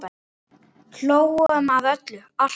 Hlógum að öllu, alltaf.